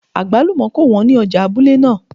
Àgbálùmọ́ kò wọ́n ní ọjà abúlé náà